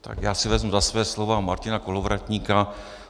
Tak já si vezmu za svá slova Martina Kolovratníka.